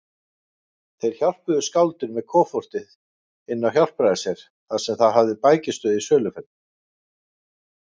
Þeir hjálpuðu skáldinu með koffortið inn á Hjálpræðisher, þar sem það hafði bækistöð í söluferðum.